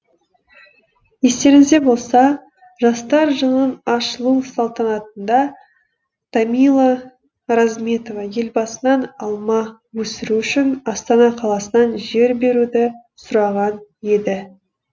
естеріңізде болса жастар жылының ашылу салтанатында тамила розметова елбасынан алма өсіру үшін астана қаласынан жер беруді сұраған еді